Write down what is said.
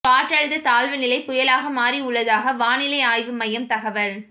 காற்றழுத்த தாழ்வு நிலை புயலாக மாறியுள்ளதாக வானிலை ஆய்வு மையம் தகவல்